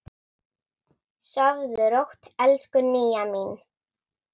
Sofðu rótt, elsku Nýja mín.